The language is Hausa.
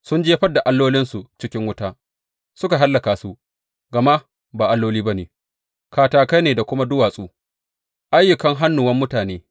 Sun jefar da allolinsu cikin wuta, suka hallaka su, gama ba alloli ba ne, katakai ne da kuma duwatsu, ayyukan hannuwan mutane.